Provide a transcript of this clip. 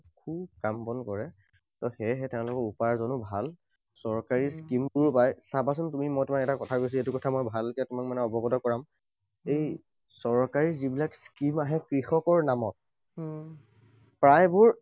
খুব কাম বন কৰে। ত সেয়েহে তেঁওলোকৰ উপাৰ্জনো ভাল। চৰকাৰী scheme বোৰ চাবাচোন তুমি, মই তোমাৰ এটা কথা কৈছো। এইটো কথা মই ভালকৈ তোমাক মানে অৱগত কৰাম। এই চৰকাৰী যিবিলাক scheme আহে কৃষকৰ নামত, প্ৰায়বোৰ